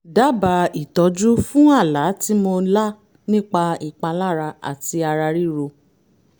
dábàá ìtọ́jú fún àlá tí mo lá nípa ìpalára àti ara ríro